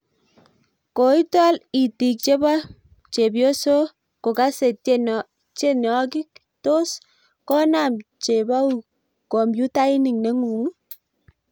koitol itiik chebo chebioso kokasei tienokik tos konaam chebauuk kompuitak nenguung?